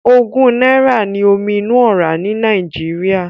Ogún náírà ní omi inú ọ́rá ní Nàìjíríà.